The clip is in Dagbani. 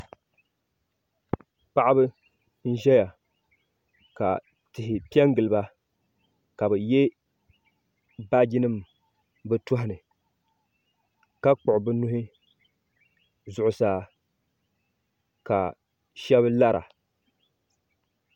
Paɣaba n ʒɛya ka tihi piɛngiliba ka bɛ ye baaji nima bɛ tohini ka kpiɣi bɛ nuhi zuɣusaa ka sheba lara.